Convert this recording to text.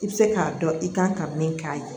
I bɛ se k'a dɔn i kan ka min k'a ye